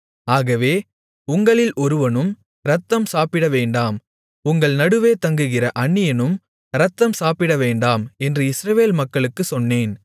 ஆகவே உங்களில் ஒருவனும் இரத்தம் சாப்பிடவேண்டாம் உங்கள் நடுவே தங்குகிற அந்நியனும் இரத்தம் சாப்பிடவேண்டாம் என்று இஸ்ரவேல் மக்களுக்குச் சொன்னேன்